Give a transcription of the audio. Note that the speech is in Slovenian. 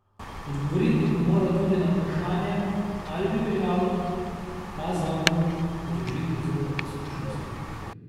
Odgovoriti bo moral tudi na vprašanje, ali bi veljalo ta zakon združiti z visokošolskim.